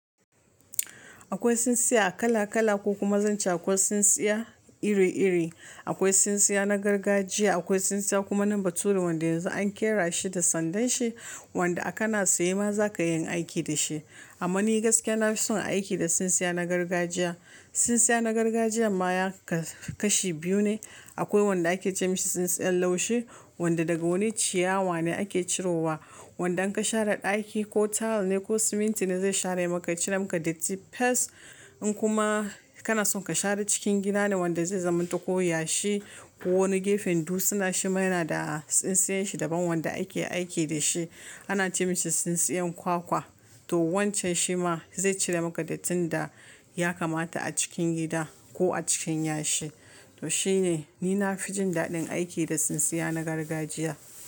Akwai tsintsiya a kala-kala ko kuma zance akwai tsintsiya iri-iri. Akwai tsintsiya na gargajiya, akwai tsintsiya kuma na baturi wanda yanzu an ƙera shi da sandanshi wanda akana tsaye ma za ka yin aiki da shi. Amma ni gaskiya na fi son aiki da tsintsiya na gargajiya. Tsintsiya na gargajiya ma yaka su kashi biyu ne. Akwai wanda ake ce masa tsintsiyan laushi wanda daga wani ciyawa ne ake ciro wa. Wanda in ka share ɗaki ko tile ne ko siminti ne zai share maka, cire maka datte fis. In kuma kana son ka share cikin gida ne wanda zai zamanto ko yashi ko wani gefen dutsina shi ma yana da tsintsiyar shi daban wanda ake aiki da shi ana ce mishi tsintsiyan kwakwa. To wancan shi ma zai cire maka datti da ya kamata a cikin gida ko a cikin yashi. To shi ne ni na fi jin daɗin aiki da tsintsiya na gargajiya.